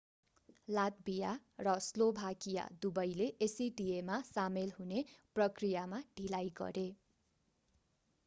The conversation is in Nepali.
लात्भिया र स्लोभाकिया दुबैले acta मा सामेल हुने प्रक्रियामा ढिलाइ गरे